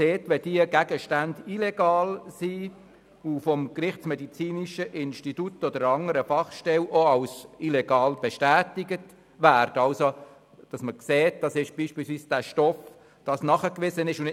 Wenn diese Gegenstände illegal sind und vom gerichtsmedizinischen Institut oder einer anderen Fachstelle als illegal bestätigt werden, sollen diese Gegenstände vernichtet werden können.